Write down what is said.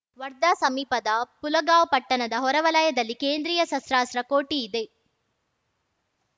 ವರ್ಧಾ ಸಮೀಪದ ಪುಲಗಾಂವ್‌ ಪಟ್ಟಣದ ಹೊರವಲಯದಲ್ಲಿ ಕೇಂದ್ರೀಯ ಶಸ್ತ್ರಾಸ್ತ್ರ ಕೋಠಿ ಇದೆ